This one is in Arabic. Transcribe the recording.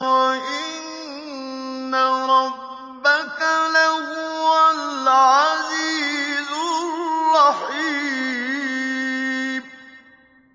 وَإِنَّ رَبَّكَ لَهُوَ الْعَزِيزُ الرَّحِيمُ